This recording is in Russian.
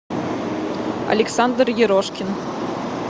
александр ерошкин